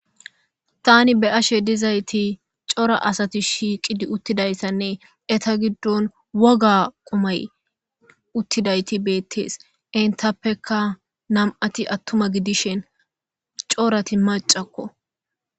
Tani be'ashe dizayis coora asay shiqidi utizayisanee eta gidon woga qumay utidays betes etapeka na'ati atuma gidishin coorati macako